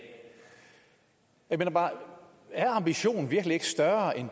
jeg mener bare er ambitionen virkelig ikke større end